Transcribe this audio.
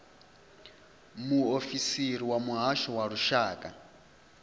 muofisiri wa muhasho wa lushaka